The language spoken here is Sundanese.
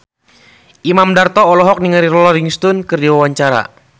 Imam Darto olohok ningali Rolling Stone keur diwawancara